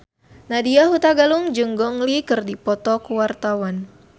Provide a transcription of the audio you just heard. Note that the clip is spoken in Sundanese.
Nadya Hutagalung jeung Gong Li keur dipoto ku wartawan